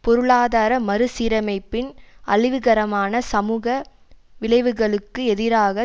பொருளாதார மறு சீரமைப்பின் அழிவுகரமான சமூக விளைவுகளுக்கு எதிராக